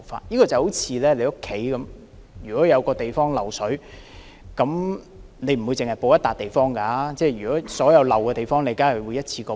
這好像你家有一處地方漏水，你不會只修補那個地方，而會同時將所有漏水的地方也修補。